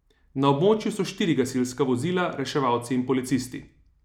Na območju so štiri gasilska vozila, reševalci in policisti.